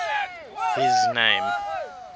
his name